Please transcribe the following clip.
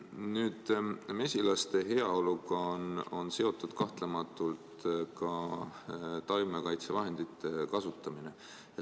Nüüd, mesilaste heaoluga on seotud kahtlemata ka taimekaitsevahendite kasutamine.